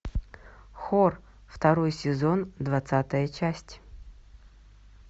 хор второй сезон двадцатая часть